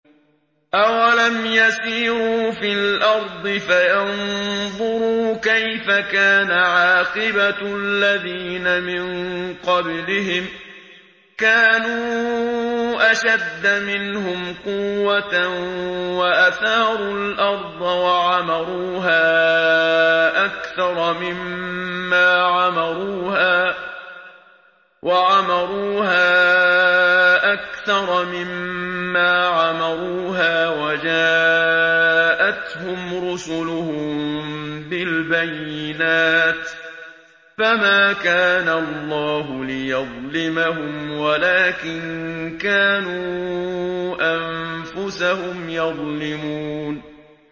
أَوَلَمْ يَسِيرُوا فِي الْأَرْضِ فَيَنظُرُوا كَيْفَ كَانَ عَاقِبَةُ الَّذِينَ مِن قَبْلِهِمْ ۚ كَانُوا أَشَدَّ مِنْهُمْ قُوَّةً وَأَثَارُوا الْأَرْضَ وَعَمَرُوهَا أَكْثَرَ مِمَّا عَمَرُوهَا وَجَاءَتْهُمْ رُسُلُهُم بِالْبَيِّنَاتِ ۖ فَمَا كَانَ اللَّهُ لِيَظْلِمَهُمْ وَلَٰكِن كَانُوا أَنفُسَهُمْ يَظْلِمُونَ